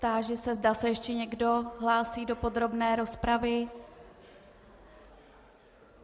Táži se, zda se ještě někdo hlásí do podrobné rozpravy.